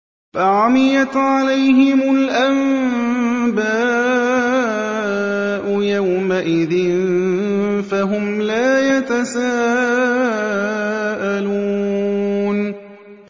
فَعَمِيَتْ عَلَيْهِمُ الْأَنبَاءُ يَوْمَئِذٍ فَهُمْ لَا يَتَسَاءَلُونَ